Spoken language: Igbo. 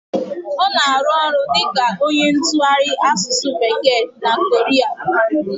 Ọ na arụ ọrụ dịka onye ntụgharị asụsụ bekee na Korea